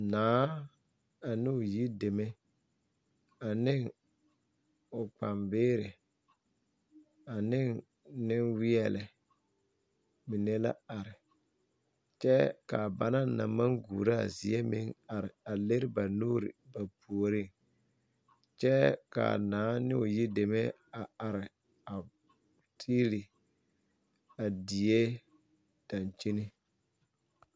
Naa anoo yideme aneŋ o kpambeeri aneŋ neŋweɛ lɛ mine la are kyɛ ka banaŋ naŋ maŋ guuraa zie meŋ are a liri ba nuuri ba puoreŋ kyɛ ka naa ne o yideme are tiili a die daŋkyine.